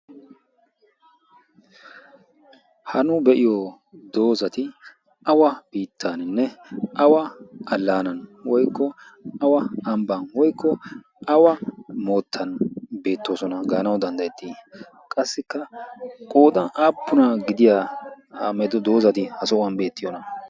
ha nu be'iyo doozati awa biittaaninne awa allaanan woikko awa ambban woykko awa moottan beettoosona. gaanawu danddayettii qassikka qooxan aapuna gidiya medo doozati ha sohuwan beettiyoona?